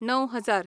णव हजार